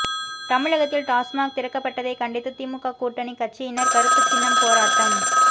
தமிழகத்தில் டாஸ்மாக் திறக்கப்பட்டதை கண்டித்து திமுக கூட்டணி கட்சியினர் கருப்புச்சின்னம் போராட்டம்